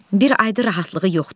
Bir aydır rahatlığı yoxdur.